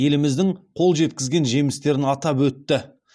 еліміздің қол жеткізген жемістерін атап өтті